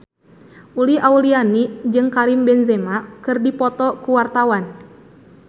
Uli Auliani jeung Karim Benzema keur dipoto ku wartawan